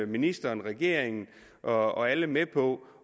ministeren regeringen og alle med på